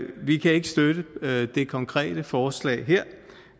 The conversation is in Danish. vi kan ikke støtte det konkrete forslag